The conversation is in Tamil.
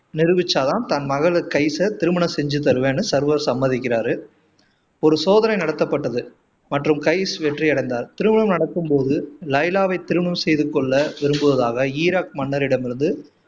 நிரூபிச்சா தான் தன் மகள் கைஸ திருமணம் செஞ்சு தருவேன்னு சர்வர் சம்மதிக்கிறாரு ஒரு சோதனை நடத்தப்பட்டது மற்றும் கைஸ் வெற்றியடைந்தார் திருமணம் நடக்கும் போது லைலாவை திருமணம் செய்து கொள்ள விரும்புவதாக ஈராக் மன்னரிடமிருந்து